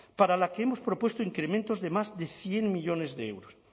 para la que hemos propuesto incrementos de más de cien millónes de euros